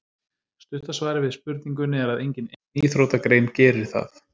Stutta svarið við spurningunni er að engin ein íþróttagrein gerir það.